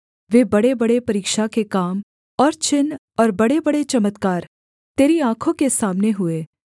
वे बड़ेबड़े परीक्षा के काम और चिन्ह और बड़ेबड़े चमत्कार तेरी आँखों के सामने हुए